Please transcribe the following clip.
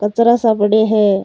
कचरा सा पड़या है।